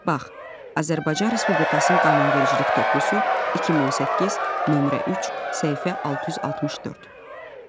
Bax: Azərbaycan Respublikasının qanunvericilik toplusu, 2018, nömrə 3, səhifə 664.